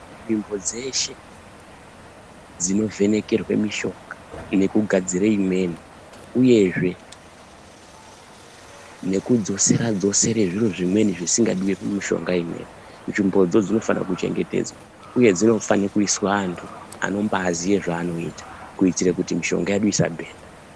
Nzvimbo dzeshe dzinovhenekerwa mishonga nekugadzira imweni uyezve nekudzosera dzosera zviro zvimweni zvisingadi mishonga imweni tsvimbodzo dzinofana kuchengetedzwa uyezve dzinofane kuiswa naantu anobaaziva zvavanoita kuitira kuti mishonga yedu isa bhenda.